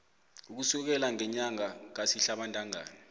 ukusukela ngenyanga kasihlabantangana